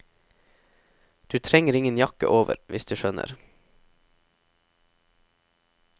Du trenger ingen jakke over, hvis du skjønner.